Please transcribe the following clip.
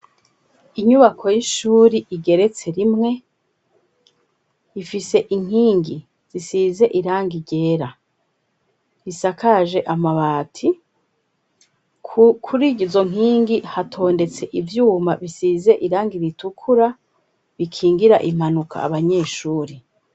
Inyubako y'ishuri igeretse rimwe, ifise inkingi zisize irangi ryera risakaje amabati, kuri izo nkingi hatondetse ivyuma bisize irangi ritukura, bikingira impanuka abanyeshuri.